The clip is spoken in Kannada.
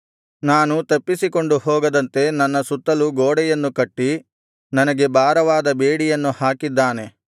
ನಾನು ತಪ್ಪಿಸಿಕೊಂಡು ಹೋಗದಂತೆ ನನ್ನ ಸುತ್ತಲು ಗೋಡೆಯನ್ನು ಕಟ್ಟಿ ನನಗೆ ಭಾರವಾದ ಬೇಡಿಯನ್ನು ಹಾಕಿದ್ದಾನೆ